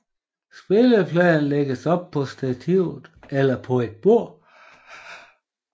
Spillepladen lægges op på stativet eller på et bord